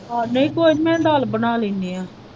ਆਹ ਨਹੀਂ ਕੋਈ ਨਹੀਂ ਮੈਂ ਦਾਲ ਬਣਾ ਲੈਂਦੀ ਹਾਂ।